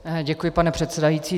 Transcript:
Děkuji, pane předsedající.